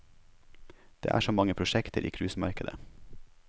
Det er så mange prosjekter i cruisemarkedet.